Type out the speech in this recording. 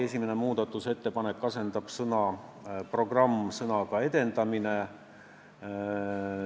Esimene muudatusettepanek on asendada sõna "programm" sõnaga "edendamine".